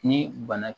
Ni bana